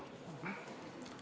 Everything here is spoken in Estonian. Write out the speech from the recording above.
Palun!